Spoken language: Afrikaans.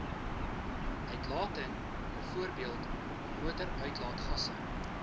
uitlating bv motoruitlaatgasse